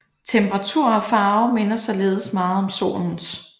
Temperatur og farve minder således meget om Solens